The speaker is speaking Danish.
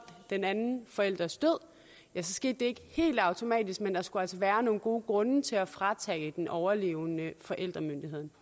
den anden forælders død ja det skete ikke helt automatisk men der skulle altså være nogle gode grunde til fratage den overlevende forældremyndigheden